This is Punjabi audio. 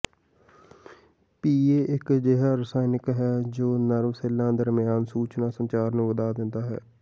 ਪੀਈਏ ਇਕ ਅਜਿਹਾ ਰਸਾਇਣ ਹੈ ਜੋ ਨਰਵ ਸੈਲਾਂ ਦਰਮਿਆਨ ਸੂਚਨਾ ਸੰਚਾਰ ਨੂੰ ਵਧਾਅ ਦੇਂਦਾ ਹੈ